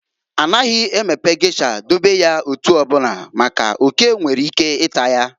A naghị emepe gesha dobe ya etu ọbụna, maka n'oke nwere ike ịta ya.